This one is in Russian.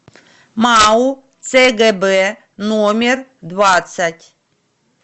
мау цгб номер двадцать